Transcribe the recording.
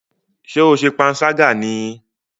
Ṣé o ṣe panṣágà ní í?